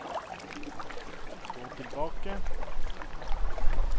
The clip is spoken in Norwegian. gå tilbake